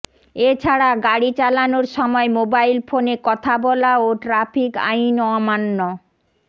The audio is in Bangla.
এ ছাড়া গাড়ি চালানোর সময় মোবাইল ফোনে কথা বলা ও ট্রাফিক আইন অমান্য